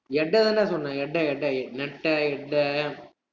சொன்னேன்